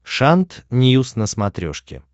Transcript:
шант ньюс на смотрешке